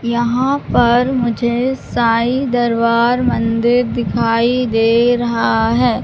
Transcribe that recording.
यहां पर मुझे साईं दरबार मंदिर दिखाई दे रहा है।